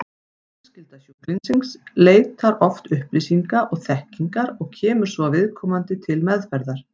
Fjölskylda sjúklingsins leitar oft upplýsinga og þekkingar og kemur svo viðkomandi til meðferðar.